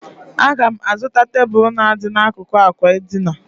Aga m azụta tebụl na-adị n'akụkụ àkwà edina.